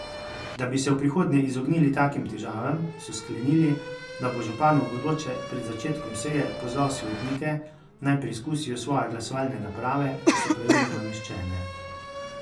Da bi se v prihodnje izognili takim težavam, so sklenili, da bo župan v bodoče pred začetkom seje pozval svetnike, naj preizkusijo svoje glasovalne naprave, če so pravilno nameščene.